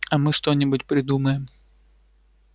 а мы что-нибудь придумаем